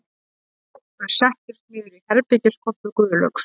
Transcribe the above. Þau settust niður í herbergiskompu Guðlaugs